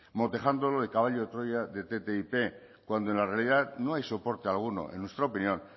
motejándolo de caballo de troya de ttip cuando en la realidad no hay soporte alguno en nuestra opinión